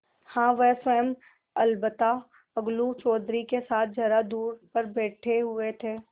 हाँ वह स्वयं अलबत्ता अलगू चौधरी के साथ जरा दूर पर बैठे हुए थे